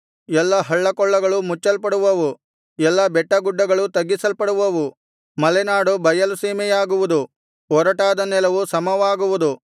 ಎಲ್ಲಾ ಹಳ್ಳಕೊಳ್ಳಗಳು ಮುಚ್ಚಲ್ಪಡುವವು ಎಲ್ಲಾ ಬೆಟ್ಟಗುಡ್ಡಗಳು ತಗ್ಗಿಸಲ್ಪಡುವವು ಮಲೆನಾಡು ಬಯಲು ಸೀಮೆಯಾಗುವುದು ಒರಟಾದ ನೆಲವು ಸಮವಾಗುವುದು